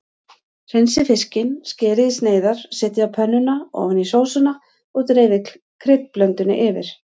Hreinsið fiskinn, skerið í sneiðar, setjið á pönnuna ofan í sósuna og dreifið kryddblöndunni yfir.